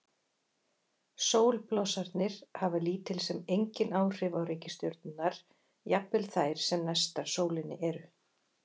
Sólblossarnir hafa lítil sem engin áhrif á reikistjörnurnar, jafnvel þær sem næstar sólinni eru.